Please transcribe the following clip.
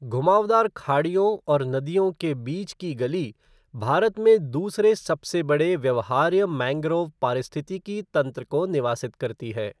घुमावदार खाड़ियों और नदियों के बीच की गली भारत में दूसरे सबसे बड़े व्यवहार्य मैंग्रोव पारिस्थितिकी तंत्र को निवासित करती है।